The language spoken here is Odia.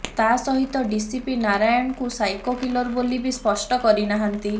ତା ସହିତ ଡିସିପି ନାରାୟଣକୁ ସାଇକୋ କିଲର ବୋଲି ବି ସ୍ପଷ୍ଟ କରି ନାହାନ୍ତି